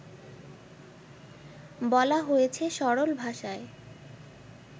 বলা হয়েছে সরল ভাষায়